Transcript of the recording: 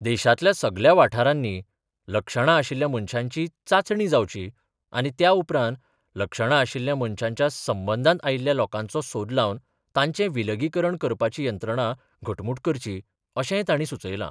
देशातल्या सगळ्या वाठारानी लक्षणां आशिल्ल्या मणशांची चाचणी जावची आनी त्या उपरांत लक्षणां आशिल्ल्या मणशाच्या संबंधान आयिल्ल्या लोकांचो सोद लावन, तांचे विलगीकरण करपाची यंत्रणा घटमुट करची, अशेय ताणी सुचयला.